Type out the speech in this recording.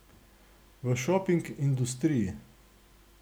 V šoping industriji.